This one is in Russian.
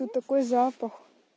тут такой запах